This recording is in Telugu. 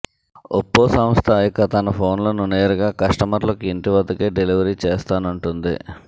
ఒప్పో సంస్థ ఇక తన ఫోన్లను నేరుగా కస్టమర్లకు ఇంటి వద్దకే డెలివరీ చేస్తానంటోంది